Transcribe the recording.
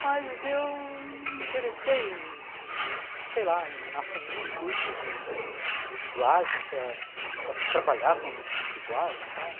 Mas eu não me interessei em, sei lá, em assumir um curso de de dublagem para para trabalhar com dublagem e tal.